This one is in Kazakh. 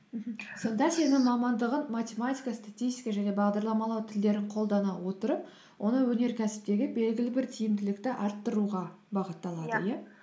мхм сонда сенің мамандығын математика статистика және бағдарламалау тілдерін қолдана отырып оны өнеркәсіптегі белгілі бір тиімділікті арттыруға бағытталады иә